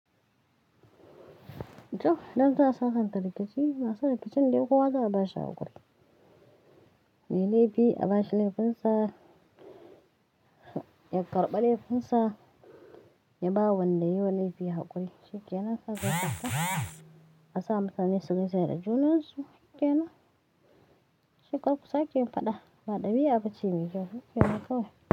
To, dam ta sasanta rikici ba sannu fi can dai kuwa za a bashi hakuri. Me laifi a bashi laifinsa, ya karba laifinsa, ya ba wanda yayi wa laifi hakuri. Shikena sa zai sasanta a sa mutane su gaishe da junansu. Shikena? Shekaru sake faɗa ba ɗabi'a ba ce mai kyau. Shikena kawai?